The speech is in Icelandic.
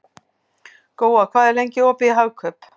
Góa, hvað er lengi opið í Hagkaup?